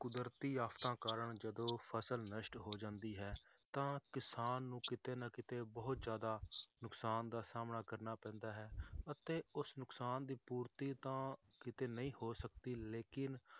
ਕੁਦਰਤੀ ਆਫ਼ਤਾਂ ਕਾਰਨ ਜਦੋਂ ਫਸਲ ਨਸ਼ਟ ਹੋ ਜਾਂਦੀ ਹੈ ਤਾਂ ਕਿਸਾਨ ਨੂੰ ਕਿਤੇ ਨਾ ਕਿਤੇ ਬਹੁਤ ਜ਼ਿਆਦਾ ਨੁਕਸਾਨ ਦਾ ਸਾਹਮਣਾ ਕਰਨਾ ਪੈਂਦਾ ਹੈ ਅਤੇ ਉਸ ਨੁਕਸਾਨ ਦੀ ਪੂਰਤੀ ਤਾਂ ਕਿਤੇ ਨਹੀਂ ਹੋ ਸਕਦੀ ਲੇਕਿੰਨ